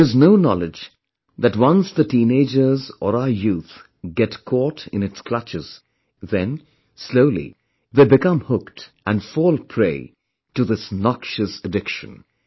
There is no knowledge that once teenagers or our youth get caught in its clutches, then, slowly, they become hooked and fall prey to this noxious addiction